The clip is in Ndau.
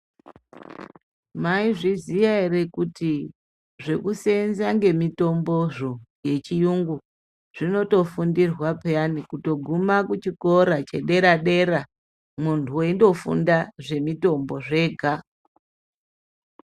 Maizviziya ere kuti zvekusenza ngemitombozvo yechiyungu zvinotofundirwa peyani kutoguma kuchikora chedera- dera muntu weindofunda zvemitombo zvega.